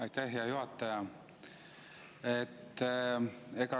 Aitäh, hea juhataja!